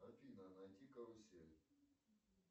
афина найди карусель